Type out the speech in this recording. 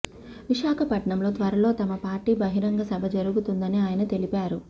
విశాఖపట్నంలో త్వరలో తమ పార్టీ బహిరంగ సభ జరుగుతుందని ఆయన తెలిపారు